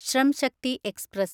Shram Shakti express